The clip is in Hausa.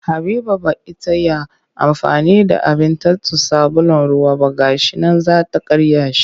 Habiba ba ita ya amfani da abin tatso sabulun ruwa ba ga shi nan za ta karya shi